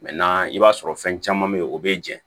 i b'a sɔrɔ fɛn caman be yen o be jɛn